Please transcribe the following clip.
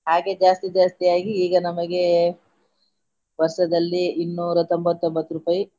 ಹಾಗೆ ಜಾಸ್ತಿ ಜಾಸ್ತಿಯಾಗಿ ಈಗ ನಮಗೆ ವರ್ಷದಲ್ಲಿ ಇನ್ನೂರ ತೊಂಬತ್ತೊಂಬತ್ತು ರೂಪಾಯಿ.